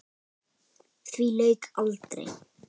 Því lauk aldrei.